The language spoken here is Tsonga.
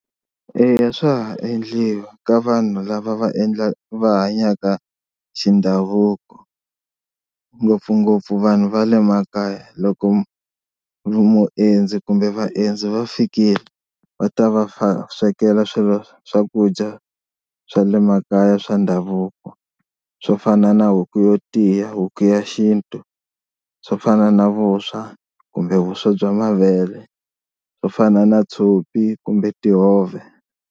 Eya swa ha endliwa ka vanhu lava va endla va hanyaka xi ndhavuko ngopfungopfu vanhu va le makaya, loko muendzi kumbe vaendzi va fikile va ta va swekela swilo swakudya swa le makaya swa ndhavuko swo fana na huku yo tiya, huku ya xintu swo fana na vuswa kumbe vuswa bya mavele, swo fana na tshopi kumbe tihove.